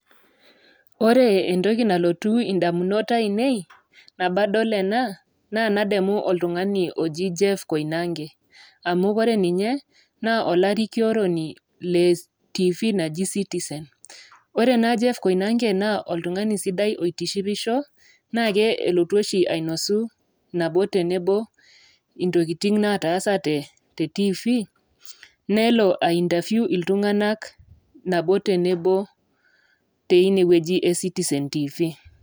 Ore entoki nalotu indamunot aainei, nabo adol ena, naa nademu oltung'ani oji Jeff Koinange. Amu ore ninye naa olarikioroni le TV naji Citizen. Ore naa Jeff Koinange naa oltung'ani sidai otishipisho, naake elotu oshi ainosu nabo te nabo intokitin nataasate te TV nelo ai interview iltung'ana nabo te nabo teine wueji e Citizen TV.